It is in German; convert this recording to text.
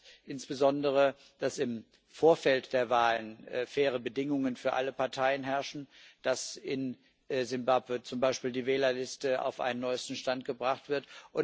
Das heißt insbesondere, dass im Vorfeld der Wahlen faire Bedingungen für alle Parteien herrschen, dass in Simbabwe zum Beispiel die Wählerliste auf einen neuesten Stand gebracht wird.